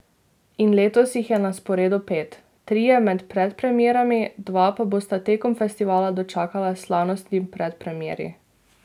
In letos jih je na sporedu pet, trije med Predpremierami, dva pa bosta tekom festivala dočakala slavnostni predpremieri.